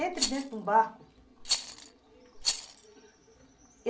Entre dentro de um barco.